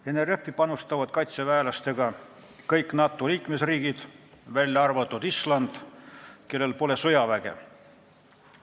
NRF-i panustavad kaitseväelastega kõik NATO liikmesriigid, välja arvatud Island, kellel pole sõjaväge.